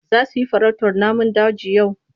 Za su yi farautar namun daji yau?